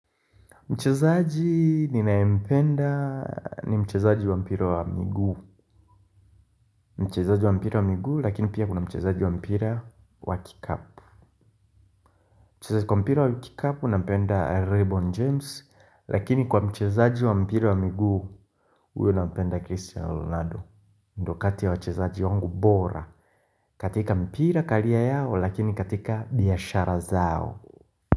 Mchezaaji ninaempenda ni mchezaaji wa mpira wa miguu Mchezaji wa mpira wa miguu lakini pia kuna mchezaaji wa mpira wa kikapu Mchezaji wa mpira wa kikapu nampenda LeBron James Lakini kwa mchezaji wa mpira wa miguu uyo nampenda Christian Ronaldo ndo kati wa mchezaji wangu bora katika mpira career yao lakini katika biashara zao.